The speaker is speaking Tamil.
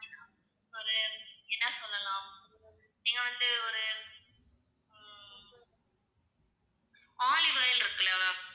அது என்ன சொல்லலாம் நீங்க வந்து ஒரு உம் olive oil இருக்குல்ல ma'am